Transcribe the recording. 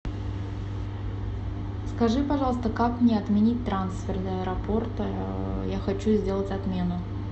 скажи пожалуйста как мне отменить трансфер до аэропорта я хочу сделать отмену